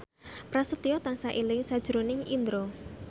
Prasetyo tansah eling sakjroning Indro